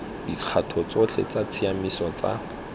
dikgato tsotlhe tsa tshiamiso tsa